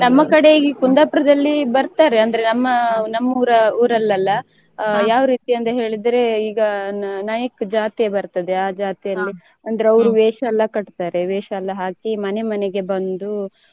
ನಮ್ಮ ಕಡೆ ಇಲ್ಲಿ Kundapura ದಲ್ಲಿ ಬರ್ತಾರೇ ಅಂದ್ರೆ ನಮ್ಮ ನಮ್ಮೂರ ಊರಲ್ಲೆಲ್ಲ ಯಾವ ರೀತಿ ಅಂತ ಹೇಳಿದ್ರೆ ಈಗಾ ನಾಯ್ಕ ಜಾತಿ ಬರ್ತದೆ ಆ ಜಾತಿ ಅಂದ್ರೆ ಅವರ ವೇಷಯೆಲ್ಲ ಕಟ್ತಾರೆ ವೇಷಯೆಲ್ಲ ಹಾಕಿ ಮನೆ ಮನೆಗೆ ಬಂದು.